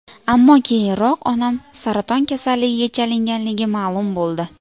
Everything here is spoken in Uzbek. Ammo keyinroq onam saraton kasalligiga chalinganligi ma’lum bo‘ldi.